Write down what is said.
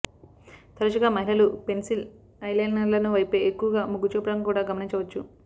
తరచుగా మహిళలు పెన్సిల్ ఐలైనర్ల వైపే ఎక్కువగా మొగ్గుచూపడం కూడా గమనించవచ్చు